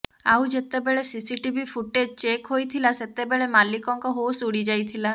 ଆଉ ଯେତେବେଳେ CCTV footage check ହୋଇଥିଲା ସେତେବେଳେ ମାଲିକଙ୍କ ହୋସ୍ ଉଡିଯାଇଥିଲା